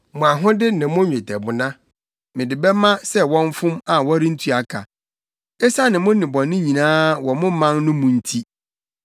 “Mo ahode ne mo nnwetɛbona mede bɛma sɛ wɔmfom a wɔrentua ka, esiane mo nnebɔne nyinaa wɔ mo man no mu nti.